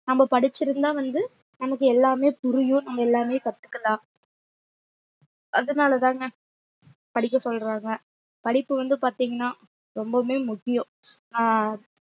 நம்ம படிச்சிருந்தா வந்து நமக்கு எல்லாமே புரியும் நம்ம எல்லாமே கத்துக்கலாம் அதனாலதாங்க படிக்க சொல்றாங்க படிப்பு வந்து பாத்தீங்கன்னா ரொம்பவுமே முக்கியம் அஹ்